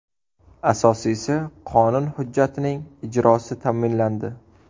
Asosiysi qonun hujjatining ijrosi ta’minlandi.